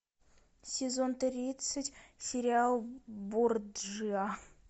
сезон тридцать сериал борджиа